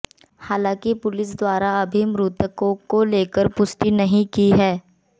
हालाँकि पुलिस द्वारा अभी मृतकों को लेकर पुष्टि नहीं की है